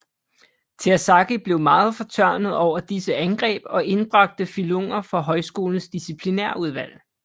Terzaghi blev meget fortørnet over disse angreb og indbragte Fillunger for højskolens disciplinærudvalg